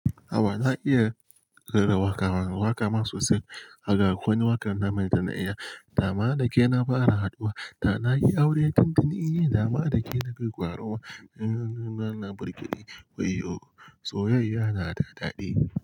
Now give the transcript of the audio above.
Awa na iya rera waƙa, waƙa ma sosai haka kuwa wakar nan mai tana iya. Dama da ke na fara haduwa, ta na yi aure tun tun iya dama da ke na kai ƙaruwa wayyo, soyayya na da daɗi.